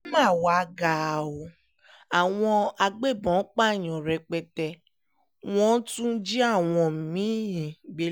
ó mà wáá ga ọ́ àwọn agbébọ̀n pààyàn rẹpẹtẹ wọ́n tún jí àwọn mí